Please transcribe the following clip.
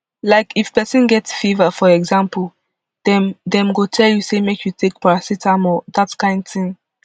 like if pesin get fever for example dem dem go tell you say make you take paracetamol dat kain tin